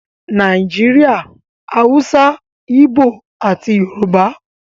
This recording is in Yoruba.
Nàìjíríà - Hausa, Ibo ati Yorùbá